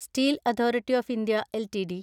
steel authority of India LTD